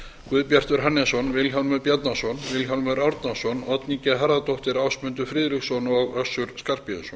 guðbjartur hannesson vilhjálmur bjarnason vilhjálmur árnason oddný g harðardóttir ásmundur friðriksson og össur skarphéðinsson